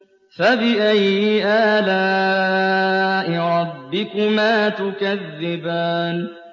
فَبِأَيِّ آلَاءِ رَبِّكُمَا تُكَذِّبَانِ